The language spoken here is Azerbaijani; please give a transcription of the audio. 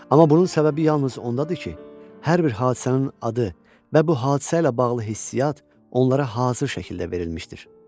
Amma bunun səbəbi yalnız ondadır ki, hər bir hadisənin adı və bu hadisə ilə bağlı hissiat onlara hazır şəkildə verilmişdir.